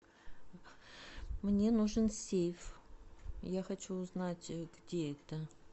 мне нужен сейф я хочу узнать где это